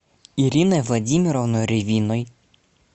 ириной владимировной ревиной